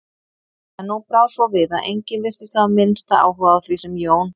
En nú brá svo við að enginn virtist hafa minnsta áhuga á því sem Jón